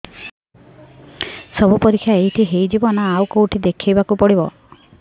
ସବୁ ପରୀକ୍ଷା ଏଇଠି ହେଇଯିବ ନା ଆଉ କଉଠି ଦେଖେଇ ବାକୁ ପଡ଼ିବ